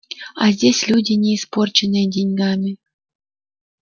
а здесь люди не испорченные деньгами